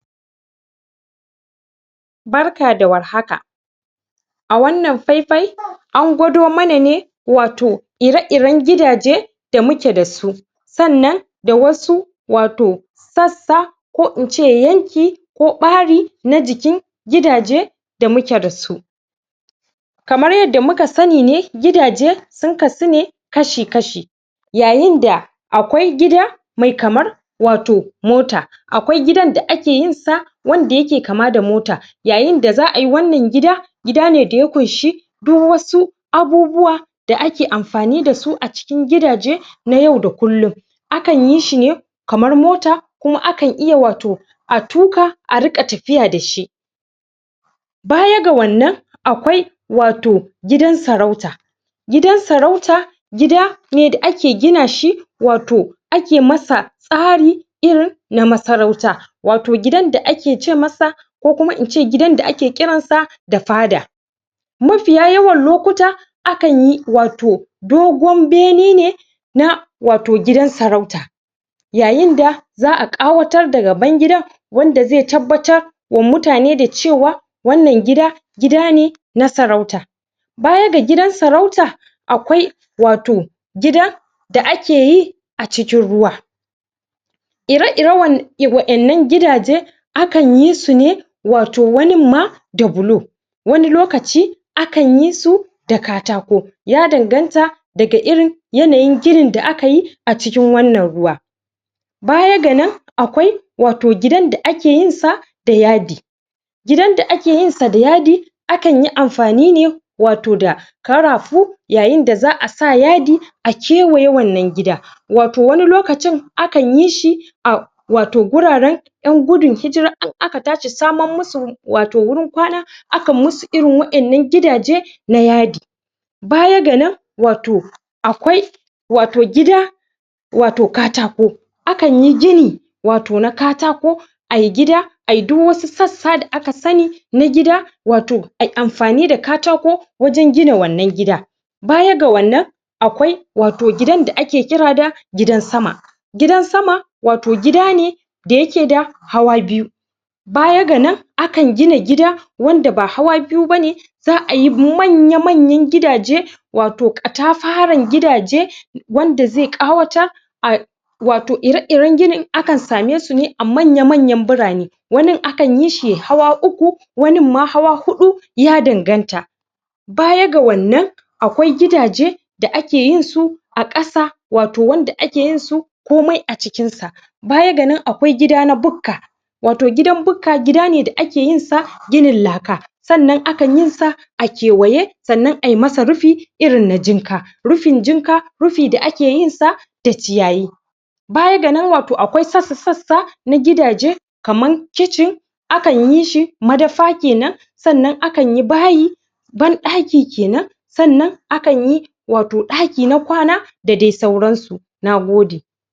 Barka da warhaka a wannan faifai an gwado mana ne wato ire-iren gidaje da muke da su sannan da wasu wato sassa ko in ce yanki ko ɓari na jikin gidaje da muke da su kamar yadda muka sani ne gidaje sun kasu ne kashi-kashi yayin da akwai gida me kamar wato mota akwai gidan da ake yin sa wanda yake kama da mota yayin da za'ai wannan gida gida ne daya ƙunshi duk wasu abubuwa da ake amfani da su a cikin gidaje na yau da kullun akan yi shine kamar mota kuma akan iya wato a tuƙa a riƙa tafiya da shi baya ga wannan akwai wato gidan sarauta gidan sarauta gida ne da ake gina shi wato ake masa tsari irin na masarauta wato gidan da ake ce masa ko kuma in ce gidan da ake kiran sa da fada mafiya yawan lokuta akan yi wato dogon bene ne na wato gidan sarauta yayin da za'a ƙawatar da gaban gidan wanda ze tabbatar wa mutane da cewa wannan gida, gida ne na sarauta baya ga gidan sarauta akwai wato gida da ake yi a cikin ruwa ire-iren waƴannan gidaje akan yi su ne wato wanin ma da bulo wani lokaci akan yi su da katako ya danganta daga irin yanayin ginin da aka yi a cikin wannan ruwa baya ga nan akwai wato gidan da ake yin sa da yadi gidan da ake yin sa da yadi akan yi amfani ne wato da ƙarafu yayin da za'a sa yadi a kewaye wannan gida wato wani lokacin akan yi shi a wato guraren ƴan gudun hijira in aka tashi saman musu wato wurin kwana akan musu irin waƴannan gidaje na yaƙi bayan ga nan wato akwai wato gida wato katako akan yi gini wato na katako ai gida ai duk wasu sassa da aka sani na gida wato ai amfani da katako wajen gina wannan gida baya ga wannan akwai wato gidan da ake kira da gidan sama gidan sama wato gida ne da yake da hawa biyu baya ga nan akan gina gida wanda ba hawa biyu bane za'ai manya-manyan gidaje wato katafaren gidaje wanda ze ƙawatar a wato ire-iren ginin akan same su ne a manya-manyan birane wanin akan yi shi yai hawa uku wanin ma hawa huɗu ya danganta baya ga wannan akwai gidaje da ake yin su a ƙasa wato wanda ake yin su komai a cikin sa baya ga nan akwai gida na bukka wato gidan bukka gida ne da ake yin sa ginin laka sannan akan yi sa a kewaye sannan ai masa rufi irin na jinka, rufin jinka rufi da ake yin sa da ciyayi baya gana nan wato akwai sassa-sassa na gidaje kaman kicin akan yi shi madafa kenan sannan akan yi bayi banɗaki kenan sannan akan yi wato ɗaki na kwana da dai sauran su, na gode.